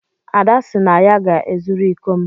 Ada sị na ya ga-ezuru iko m.